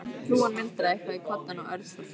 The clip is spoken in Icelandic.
Hrúgan muldraði eitthvað í koddann og Örn fór fram.